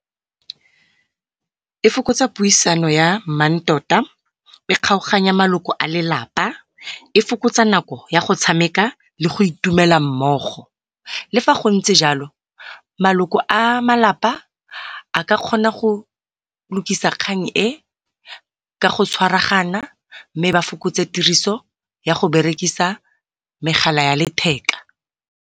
E fokotsa puisano ya mmantota, e kgaoganya maloko a lelapa, e fokotsa nako ya go tshameka le go itumela mmogo. Le fa gontse jalo maloko a malapa a ka kgona go lukisa kgang e ka go tshwaragana mme ba fokotse tiriso ya megala ya letheka.